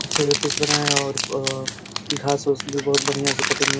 अच्छा सा पिच बनाया और आ घास उस भी बहुत बढ़िया से कटिंग हो --